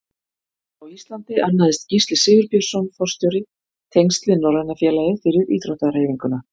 Á Íslandi annaðist Gísli Sigurbjörnsson forstjóri tengsl við Norræna félagið fyrir íþróttahreyfinguna.